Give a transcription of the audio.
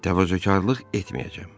Təvazökarlıq etməyəcəm.